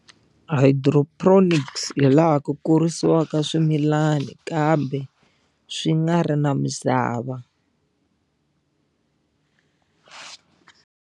Hydroponics laha ku kurisiwaka swimilani kambe swi nga ri na misava.